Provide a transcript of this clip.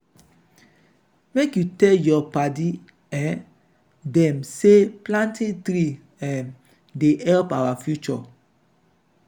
make you tell your padi um dem say planting tree um dey help our future.